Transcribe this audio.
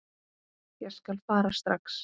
Ég skal fara strax.